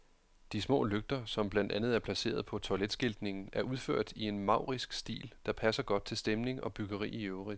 De små lygter, som blandt andet er placeret på toiletskiltningen, er udført i en maurisk stil, der passer godt til stemning og byggeri i øvrigt.